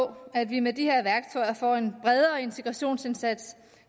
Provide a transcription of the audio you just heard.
at vi med de her værktøjer får en bredere integrationsindsats